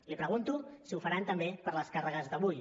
li pregunto si ho faran també per les càrregues d’avui